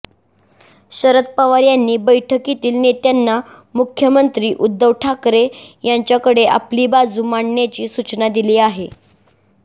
शरद पवार यांनी बैठकीतील नेत्यांना मुख्यमंत्री उद्धव ठाकरे यांच्याकडे आपली बाजू मांडण्याची सूचना दिली आहे